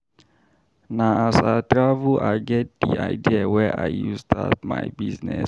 Na as I travel I get di idea wey I use start my business.